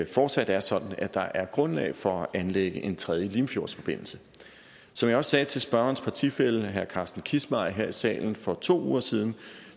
fortsat er sådan at der er grundlag for at anlægge en tredje limfjordsforbindelse som jeg også sagde til spørgerens partifælle herre carsten kissmeyer her i salen for to uger siden